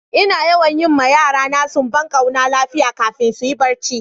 Ina yawan yi ma yara na sumban kwana lafiya kafin su yi barci.